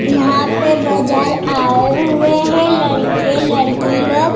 यहां पे बाजार आए हुए है लड़के-लड़की लोग।